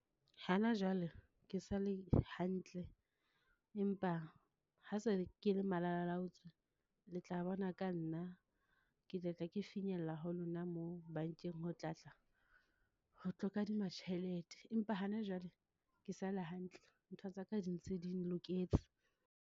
Hana jwale ke sa le hantle, empa ha se ke le malalalaotswe, le tla bona ka nna. Ke tla tla ke finyella ho lona moo bankeng ho tla tla ho tlo kadima tjhelete, empa hana jwale ke sale hantle. Ntho tsaka di ntse ding loketse.